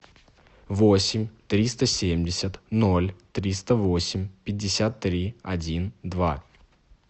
восемь триста семьдесят ноль триста восемь пятьдесят три один два